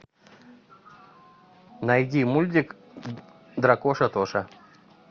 найди мультик дракоша тоша